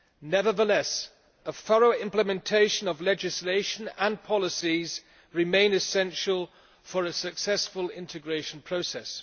Nevertheless, a thorough implementation of legislation and policies remains essential for a successful integration process.